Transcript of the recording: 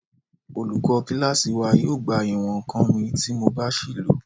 Olùkọ́ kílásì wa yóò gba ìwọ̀n-ǹkan mi tí mo bá ṣìí lò